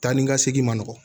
Taa ni ka segin ma nɔgɔn